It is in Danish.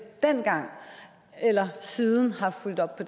dengang eller siden har fulgt op på